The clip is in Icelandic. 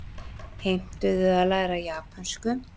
Heimtuðu að læra japönsku